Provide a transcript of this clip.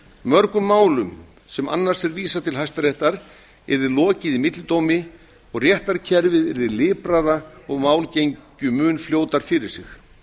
mörgum málum sem annars er vísað til hæstaréttar yrði lokið í millidómi og réttarkerfið yrði liprara og mál gengju fljótar fyrir sig